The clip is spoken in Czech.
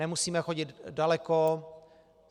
Nemusíme chodit daleko.